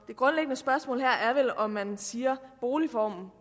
det grundlæggende spørgsmål er vel om man siger at boligformen